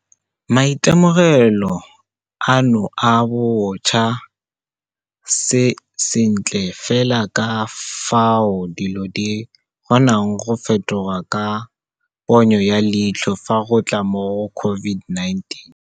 Maitemogelo ano a bontsha sentle fela ka fao dilo di kgonang go fetoga ka ponyo ya leitlho fa go tla mo go COVID-19.